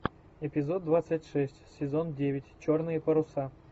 эпизод двадцать шесть сезон девять черные паруса